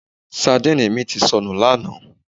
Sandíìnì mi ti sọnù lánàá